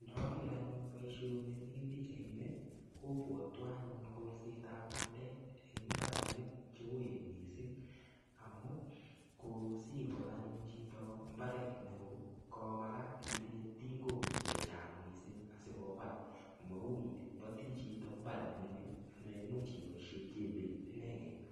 Ndoker anyun boishoni mii pichaini kobwotwon anyun kolssetab bandek en mbarenik cheuen mising amun kosikol anyun chito maret neoo komakat itinye tingok chechang mising asikobat, mau iboti chito mbar nemingin neimuch iboishen jembeit ineken.